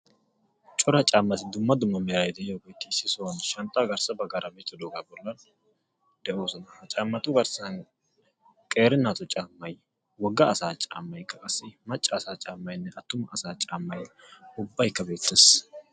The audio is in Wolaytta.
corra caamati dumma dumma meray de"iyogetti issi sohuwani bettosona caamatikka qeeri natugeti wogga assage ubbaykka beettesi.